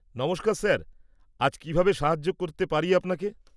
-নমস্কার স্যার, আজ কীভাবে সাহায্য করতে পারি আপনাকে?